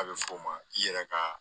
A bɛ f'o ma i yɛrɛ ka